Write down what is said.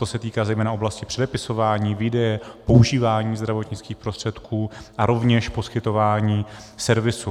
To se týká zejména oblasti předepisování, výdeje, používání zdravotnických prostředků a rovněž poskytování servisu.